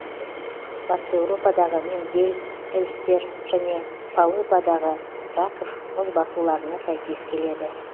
батыс еуропадағы миндель эльстер және полыпадағы краков мұзбасуларына сәйкес келеді